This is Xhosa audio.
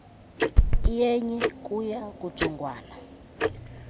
iyenye kuya kujongwana